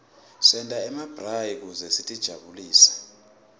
senta nemabrayi kute sitijabulise